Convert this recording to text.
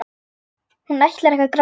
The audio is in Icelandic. Hún ætlar ekki að gráta.